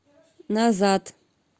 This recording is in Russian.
назад